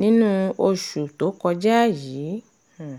nínú oṣù tó kọjá yìí um